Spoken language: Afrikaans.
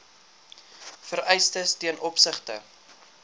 vereistes ten opsigte